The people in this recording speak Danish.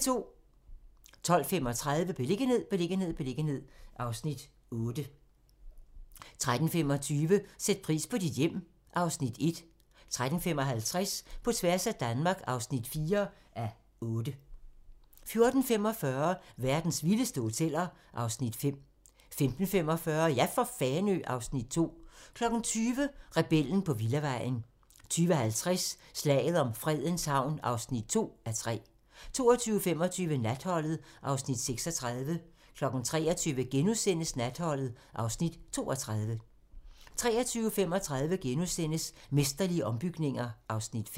12:35: Beliggenhed, beliggenhed, beliggenhed (Afs. 8) 13:25: Sæt pris på dit hjem (Afs. 1) 13:55: På tværs af Danmark (4:8) 14:45: Verdens vildeste hoteller (Afs. 5) 15:45: Ja for Fanø! (Afs. 2) 20:00: Rebellen på villavejen 20:50: Slaget om Fredens Havn (2:3) 22:25: Natholdet (Afs. 36) 23:00: Natholdet (Afs. 32)* 23:35: Mesterlige ombygninger (Afs. 5)*